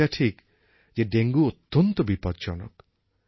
এটা ঠিক যে ডেঙ্গু অত্যন্ত বিপজ্জনক